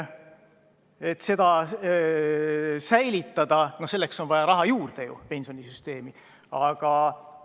Et seda hoida, on pensionisüsteemi raha juurde vaja.